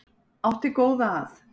Átti góða að.